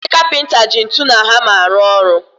Ndị kapịnta ji ntụ na hama arụ ọrụ